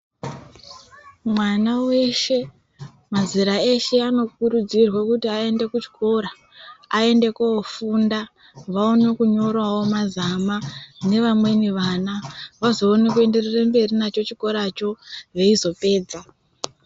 Mwana weshe mazera eshe ano kurudzirwa kuti aende kuchikora aende koofunda vaone kunyorawo mazama neamweni vana vazoona kuenderera mberi nacho chikora cho veizopedza.